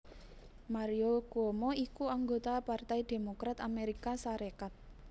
Mario Cuomo iku anggota Partai Démokrat Amérika Sarékat